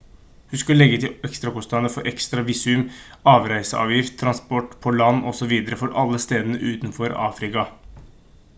husk å legge til ekstrakostnader for ekstra visum avreiseavgift transport på land osv for alle stedene utenfor afrika